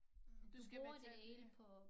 Du bruger det hele